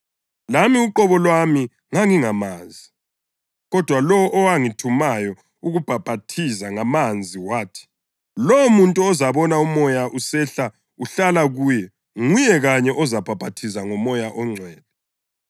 Lami uqobo lwami ngangingamazi, kodwa lowo owangithumayo ukubhaphathiza ngamanzi wathi, ‘Lowomuntu ozabona uMoya usehla uhlala kuye nguye kanye ozabhaphathiza ngoMoya oNgcwele.’